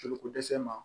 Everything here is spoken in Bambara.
Joliko dɛsɛ ma